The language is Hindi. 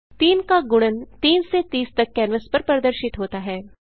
3 का गुणन 3 से 30 तक कैनवास पर प्रदर्शित होता है